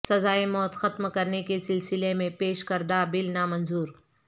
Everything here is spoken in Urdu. سزائے موت ختم کرنے کے سلسلے میں پیش کردہ بل نامنظور